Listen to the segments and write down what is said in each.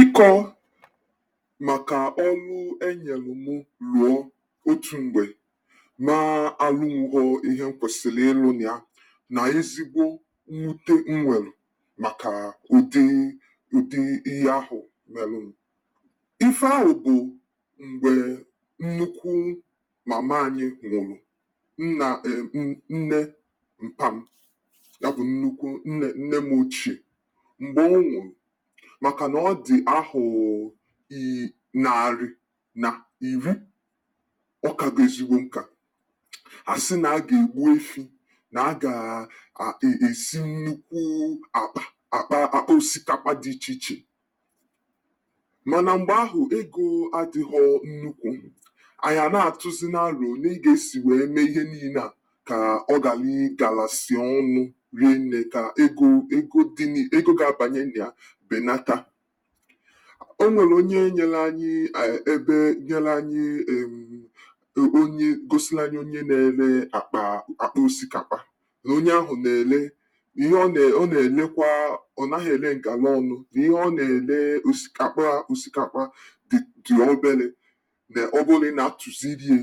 Ị́kọ maka ọ́lụ́ e nyelụ mụ lụọ otu mgbe ma alunwughọ ihe m kwesịlị ịlụ nịya na ezigbo mwute m nwelụ maka ùdí ùdí ihe ahụ melụnụ. Ife ahụ bụ mgbe nnukwu mama anyị nwụ̀rụ̀, m na-ekwu nne mpa m ya bụ nnukwu nne nne m ochie mgbe ọ nwụrụ maka ọ dị ahọ i narị na iri. Ọ kago ezigbo nka. A sị na a ga-egbu efí. Na a gaa e e esi nnukwu àkpà akpa akpa osikapa dị iche iche. Mana mgbe ahụ ego adịghọ nnukwu. Anyị a na-atụzinu álò oné e ga-esi wee mee ihe niine a ka ọ galịị galasị ọnụ rie nne ka ego ego dị ni ego ga-abanye nịa benata. O nwelụ onye nyele anyị a ebee nyele anyị erm o o onye gosili anyị onye na-ele akpa akpa osikapa. Na onye ahụ na-ele ihe ọ ne ọ na-elekwa ọ naghị ele ngalọnụ na ihe ọ na-ele osika akpa osikapa dị dị obele na ọ bụlụ na ị na-atụzilie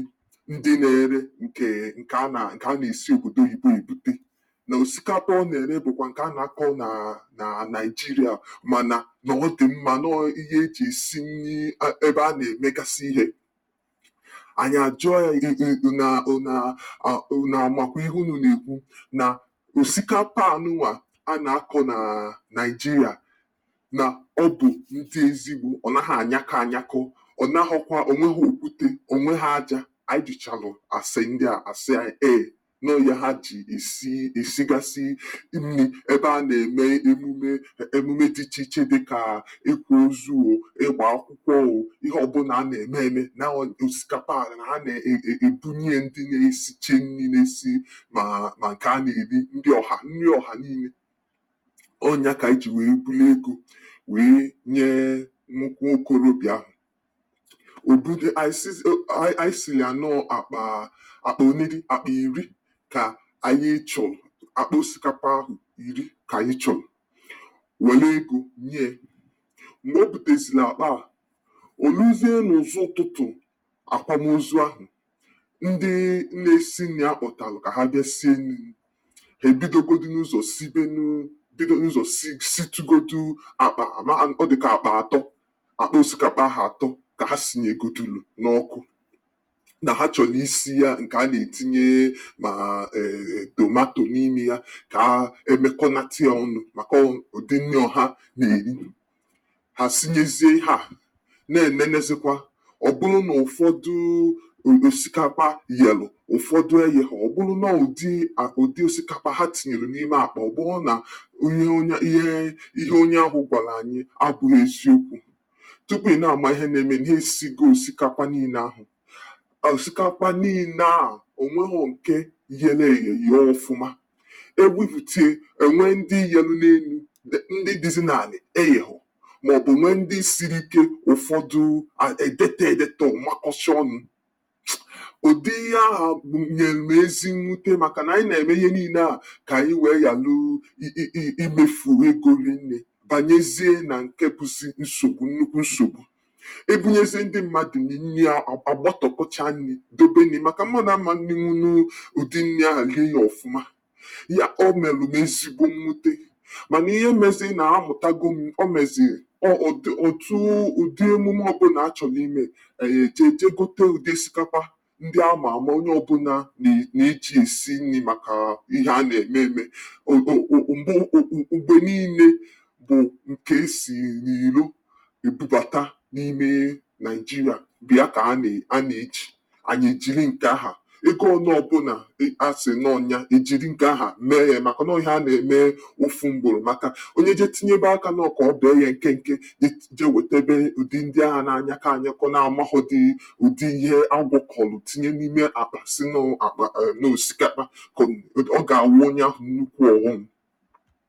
ndị na-ere nke nke a na nke a na-esi obodo oyibo ebute. Na osikapa ọ na-ere bụ nke a na-akọ́ na na Naijiria na ọ dị mma nọọ ihe e ji esi nni e ebe a na-emegasị ihe. Anyị a jụọ ya ụ̀nụ̀ a ụ̀nụ̀ amakwa ihe unu na-ekwu na osikapa a nụnwa a na-akọ na Naijiria na ọ bụ ndị ezigbo ọ naghị anyakọ́ anyakọ. Ọ naghọkwa o nweghi okwute. O nweghi ája. Ayị jụchalụ asè ndị a, a sị anyị ee nọọ ihe ha ji esi esigasị nni ebe a na-eme emume e emume dịgasị iche iche dị ka ị́kwa ózú o, ị́gbà akwụkwọ o, ihe ọbụla a na-eme eme osikapa a na ha ne e e ebunyie ndị na-esiche nni na-esi ma ma nke a na-eri ndị ọ̀hà nni ọ̀hà niine. Ọ nya ka m ji wee bulu ego wee nyee nwo nwokorobịa ahụ. O bul ayị sịzi ayị silia nnọọ akpaa akpa onedị? Akpa iri ka anyị chọlụ akpa osikapa iri ka ayị chọlụ. Welụ ego nyie. Mgbe o butesịlị akpa a, o luzie n'ụ̀zụ́ ụtụtụ akwamozu ahụ, ndị na-esi nni akpọtalụ ka ha bịa sie nni, ha ebidogodunụ ụzọ sibenụ bidonụ ụzọ si situgodu akpa ama m ọ dị ka akpa atọ akpa osikapa ahụ atọ ka ha sinyegodulu n'ọ́kụ́. Na ha chọlụ ísi ya nke a na-etinye ma err err tomato n'ime ya ka emekọnatịya ọnụ maka ọ udi nni ọhá na-eri. Ha sinyezie ihe a, na-enenezịkwa, ọ bụlụ na ụfọdụ o osikapa yelụ ụfọdụ eyelọ̀. Ọ bụlụ nọọ ụdị a ụdị osikapa ha tinyelụ n'ime akpa ọ bụlụ na ihe onye ihe ihe onye ahụ gwalụ anyị abụghị eziokwu. Tupu ị na-ama ihe na-emenụ ha esigo osikapa niine ahụ. Osikapa niine a o nweghọ nke yélé èyè yee ọfụma. Egbufitie e nwee ndị yelụ n'enu dị ndị dịzị n'anị eyeghọ maọbụ nwee ndị siri ike ụfọdụ e detọọ edetọ̀ọ̀ makọ́sịa ọnụ. Ụdị ihe ahụ b nyelụ m ezi mwute makana anyị na-eme ihe niine a k'anyị wee yalụ i i i imefu ego rinne banyezie na nke bụ nsogbu nnukwu nsogbu. E bunyezie ndị mmadụ nni, nni a agbatọkọchaa nni dobe nni maka mmadụ a man rinwunu udi nni ahụ lie ya ọfụma. Ya o melụ m ezigbo mwute mana ihe mezịị na-amụtago m o mezii o o o otuu udi emume ọbụla a chọrọ ime, anyị e jee jee gote udi osikapa ndị a ma àmá onye ọbụla ne na-eji esi nni maka ihe a na-eme eme. O o o mgbo oo mgbe niine bụ nke e sii n'iló ebubata n'ime Naijiria bụ ya ka a ne a na-eji, anyị e jiri nke aha. Ego one ọbụla i a sịị nọ́ọ́ ya, e jiri nke aha mee nya maka nọ́ọ́ ihe a na-eme ofu mgboro maka onye jee tinyebe aka nọ́ọ́ ka ọ bee ya nkenke jee jee wetebe ụdị ndị aha na-anyakọ anyakọ na-amaghọdị udi ihe a gwọkọlụ tinye n'ime àkpà sị nọọ akpa err nọọ osikapa, ọ ga-aghọ onye ahụ nnukwu ọghọm.